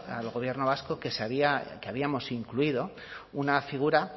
al gobierno vasco que habíamos incluido una figura